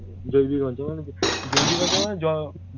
জৈবিক অঞ্চল মানে জৈবিক অঞ্চল মানে জ